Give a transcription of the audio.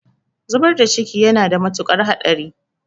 Zubar da ciki yana da mutuƙar haɗari.